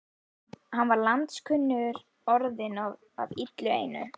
Hann var landskunnur orðinn og af illu einu.